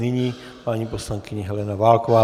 Nyní paní poslankyně Helena Válková.